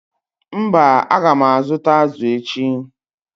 mba, a ga m azụta azụ̀ echi.